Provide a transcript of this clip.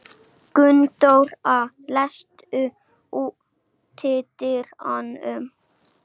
Gunndóra, læstu útidyrunum.